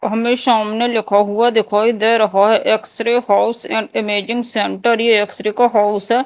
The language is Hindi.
हमें सामने लिखा हुआ दिखाई दे रहा है x-ray house and imaging centre ये एक्स-रे का हाउस है।